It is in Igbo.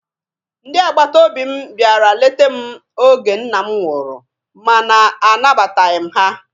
Ndị agbata obi m bịara lete m oge nna m nwụrụ mana a nabataghi m ha.